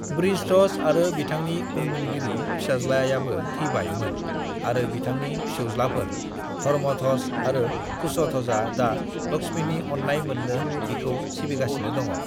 वृषध्वज आरो बिथांनि उनमोनगिरि-फिसाज्लायाबो थैबाय मोन आरो बिथांनि फिसौज्लाफोर धर्मध्वज आरो कुशध्वजआ दा लक्ष्मीनि अननाय मोननो बिखौ सिबिगासिनि दङ'।